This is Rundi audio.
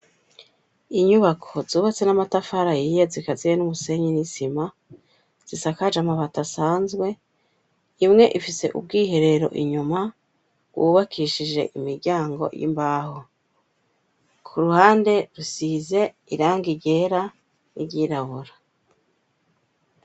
Inyubako zubatse n'amatafari ahiye zikaziye n'umusenyi n'isima, zisakaje amabati asanzwe, imwe ifise ubwiherero inyuma, bwubakishije imiryango y'imbaho. Ku ruhande rusize irangi ryera n'ivyirabura.